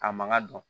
A man ka dɔn